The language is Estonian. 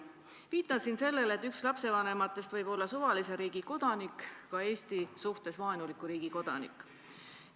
Viitan siin sellele, et üks lapsevanematest võib olla suvalise riigi kodanik, ka Eesti suhtes vaenuliku riigi kodanik.